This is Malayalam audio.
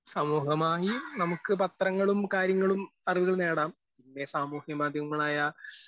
സമൂഹമായി നമുക്ക് പത്രങ്ങളും കാര്യങ്ങളും അറിവുകൾ നേടാം, പിന്നെ സാമൂഹ്യമാധ്യമങ്ങളായ